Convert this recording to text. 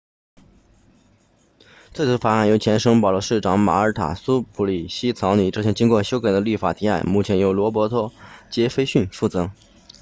最初的法案由前圣保罗市长玛尔塔苏普里希草拟这项经过修改的立法提案目前由罗伯托杰斐逊负责